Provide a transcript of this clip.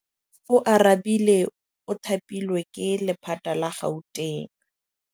Oarabile o thapilwe ke lephata la Gauteng.